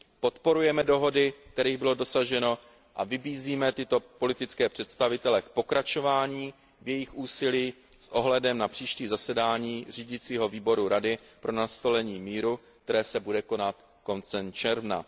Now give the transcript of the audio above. Podporujeme dohody, kterých bylo dosaženo, a vybízíme tyto politické představitele k pokračování v jejich úsilí s ohledem na příští zasedání Řídícího výboru Rady pro nastolení míru, které se bude konat koncem června.